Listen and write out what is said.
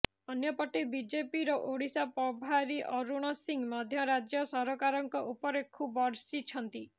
ଅନ୍ୟପଟେ ବିଜେପିର ଓଡିଶା ପ୍ରଭାରୀ ଅରୁଣ ସିଂ ମଧ୍ୟ ରାଜ୍ୟ ସରକାରଙ୍କ ଉପରେ ଖୁବ ବର୍ଷିଛନ୍ତି